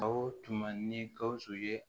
O tuma ni gawusu ye